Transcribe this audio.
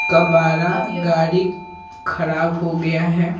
कबारा गाड़ी खराब हो गया है।